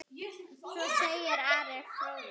Svo segir Ari fróði.